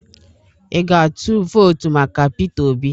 Ị ga-atụ vootu maka Peter Obi?